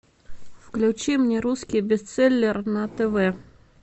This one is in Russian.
включи мне русский бестселлер на тв